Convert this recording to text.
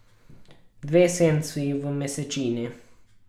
Dve senci v mesečini.